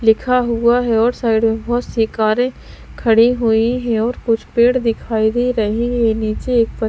लिखा हुआ है और साइड में बहुत-सी कारें खड़ी हुई हैं और कुछ पेड़ दिखाई दे रहे हैं नीचे एक पत्त--